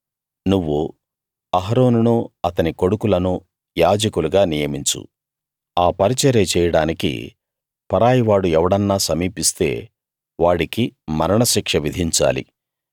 నువ్వు అహరోనునూ అతని కొడుకులను యాజకులుగా నియమించు ఆ పరిచర్య చేయడానికి పరాయి వాడు ఎవడన్నా సమీపిస్తే వాడికి మరణ శిక్ష విధించాలి